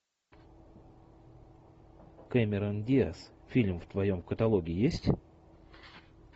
кэмерон диаз фильм в твоем каталоге есть